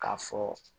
K'a fɔ